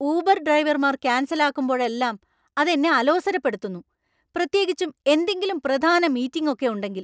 Uber ഡ്രൈവർമാർ cancel ആക്കുമ്പോഴെല്ലാം അത് എന്നെ അലോസരപ്പെടുത്തുന്നു, പ്രത്യേകിച്ചും എന്തെങ്കിലും പ്രധാന മീറ്റിംഗ് ഒക്കെ ഉണ്ടെങ്കിൽ.